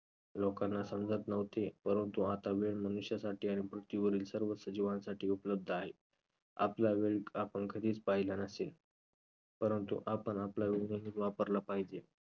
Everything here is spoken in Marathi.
लोकांना समजत नव्हते परंतु आता वेळ मनुष्यासाठी आहे आणि पृथ्वीवरील सर्व सजीवांसाठी उपलब्ध आहे. आपला वेळ आपण कधीच पाहिला नसेल परंतु आपण आपला वेळ नियमीत वापरला पाहिजे.